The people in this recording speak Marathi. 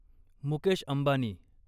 मुकेश अंबानी